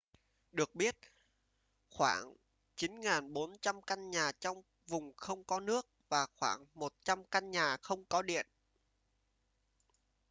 được biết khoảng 9400 căn nhà trong vùng không có nước và khoảng 100 căn nhà không có điện